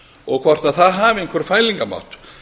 og hvort það hafi einhvern fælingarmátt